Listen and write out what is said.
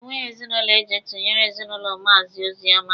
Enweghị ezinụlọ eji tụnyere ezinụlọ Maazi Ozioma.